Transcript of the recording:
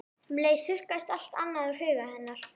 Um leið þurrkaðist allt annað úr huga hennar.